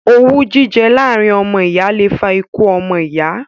Owú jíjẹ láàrin ọmọ ìyá le fa ikú ọmọ iya